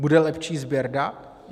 Bude lepší sběr dat?